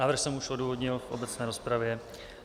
Návrh jsem už odůvodnil v obecné rozpravě.